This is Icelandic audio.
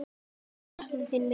Þau sakna þín mikið.